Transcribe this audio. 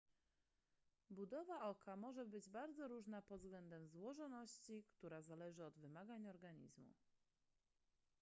budowa oka może być bardzo różna pod względem złożoności która zależy od wymagań organizmu